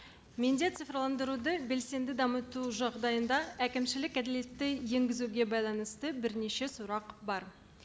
менде цифрландаруды белсенді дамыту жағдайында әкімшілік әділетті енгізуге байланысты бірнеше сұрақ бар